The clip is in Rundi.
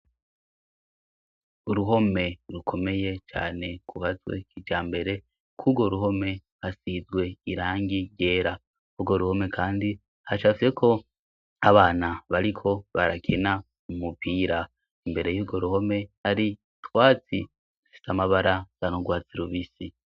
Uruhome rukomeye cane kubazwe ija mbere kurwo ruhome hasizwe irangi rera urwo ruhome, kandi hashafyeko abana bariko barakena mumupira imbere y'urwo ruhome ari twazi dusitamabara zanogwazi rubisi.